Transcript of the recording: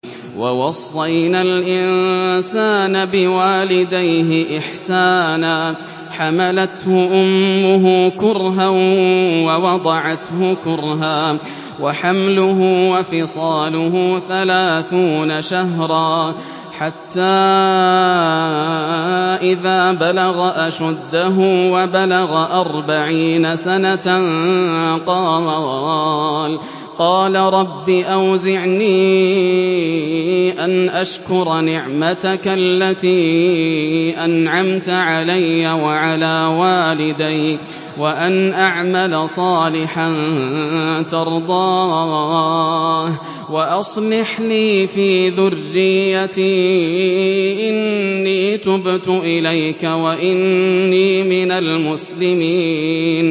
وَوَصَّيْنَا الْإِنسَانَ بِوَالِدَيْهِ إِحْسَانًا ۖ حَمَلَتْهُ أُمُّهُ كُرْهًا وَوَضَعَتْهُ كُرْهًا ۖ وَحَمْلُهُ وَفِصَالُهُ ثَلَاثُونَ شَهْرًا ۚ حَتَّىٰ إِذَا بَلَغَ أَشُدَّهُ وَبَلَغَ أَرْبَعِينَ سَنَةً قَالَ رَبِّ أَوْزِعْنِي أَنْ أَشْكُرَ نِعْمَتَكَ الَّتِي أَنْعَمْتَ عَلَيَّ وَعَلَىٰ وَالِدَيَّ وَأَنْ أَعْمَلَ صَالِحًا تَرْضَاهُ وَأَصْلِحْ لِي فِي ذُرِّيَّتِي ۖ إِنِّي تُبْتُ إِلَيْكَ وَإِنِّي مِنَ الْمُسْلِمِينَ